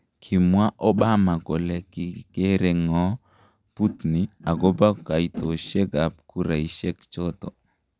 Kimwaa Obama kole kigereng'oo Putin agobokoitosiek ab kuraisiekchoton.